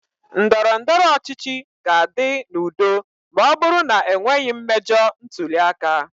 Ndọrọ ndọrọ ọchịchị ga-adị n'udo ma ọ bụrụ na e nweghị mmejọ ntuli aka.